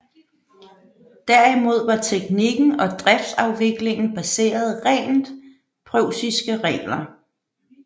Derimod var teknikken og driftsafviklingen baseret rent preussiske regler